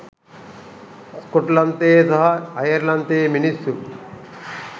ස්කොට්ලන්තයේ සහ අයර්ලන්තයේ මිනිස්සු